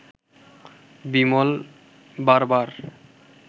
বিমল বারবার